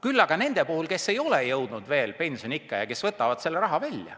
küll aga on nende puhul, kes ei ole jõudnud veel pensioniikka ja kes võtavad selle raha välja.